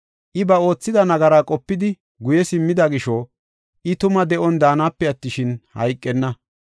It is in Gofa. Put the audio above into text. I ba oothida nagaraa qopidi guye simmida gisho, I tuma de7on daanape attishin, hayqenna.